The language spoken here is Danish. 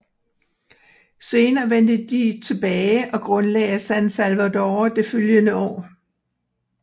Senere vendte de tilbage og grundlagde San Salvador det følgende år